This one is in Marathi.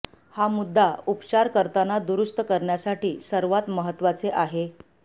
हा मुद्दा उपचार करताना दुरुस्त करण्यासाठी सर्वात महत्त्वाचे आहे